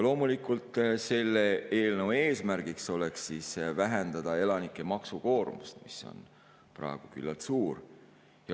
Loomulikult on selle eelnõu eesmärgiks vähendada elanike maksukoormust, mis on praegu küllalt suur.